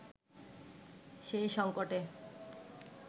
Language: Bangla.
সেই সংকটে